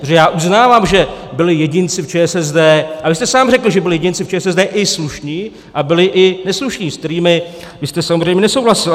Protože já uznávám, že byli jedinci v ČSSD - a vy jste sám řekl, že byli jedinci v ČSSD i slušní, a byli i neslušní, se kterými vy jste samozřejmě nesouhlasil.